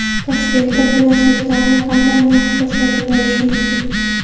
Toshkentda planshetlarni qanday narxda sotib olish mumkin?.